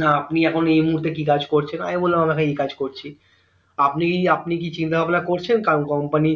না আপনি এখন এই মুহূর্তে কি কাজ করছেন মাই বললাম এই কাজ করছি আপনি কি আপনি কি চিন্তা ভাবনা করছেন কারো company